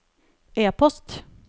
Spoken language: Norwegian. e-post